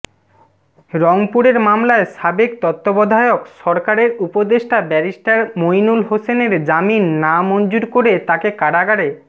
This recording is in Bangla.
রংপুরের মামলায় সাবেক তত্ত্বাবধায়ক সরকারের উপদেষ্টা ব্যারিস্টার মইনুল হোসেনের জামিন নামঞ্জুর করে তাকে কারাগারে